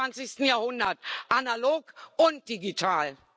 im 21. Jahrhundert, analog und digital.